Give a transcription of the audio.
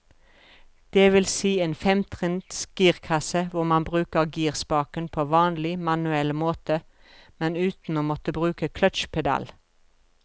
Det vil si en femtrinns girkasse hvor man bruker girspaken på vanlig, manuell måte, men uten å måtte bruke clutchpedal.